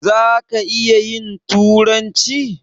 Zaka iya turanci?